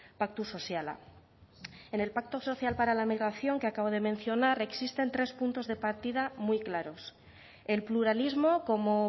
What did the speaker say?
paktu soziala en el pacto social para la migración que acabo de mencionar existen tres puntos de partida muy claros el pluralismo como